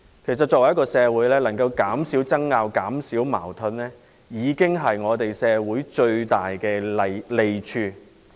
事實上，如果能夠減少爭拗和矛盾，對社會已是最大的利益。